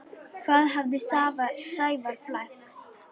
Í hvað hafði Sævar flækst?